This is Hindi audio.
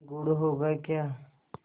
गुड़ होगा क्या